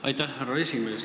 Aitäh, härra esimees!